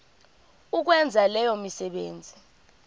ukwenza leyo misebenzi